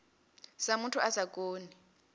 sa muthu a sa koni